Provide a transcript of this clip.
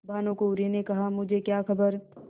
भानुकुँवरि ने कहामुझे क्या खबर